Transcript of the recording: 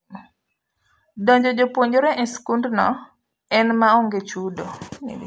Donjo jopuonjre esikund no en maonge chudo.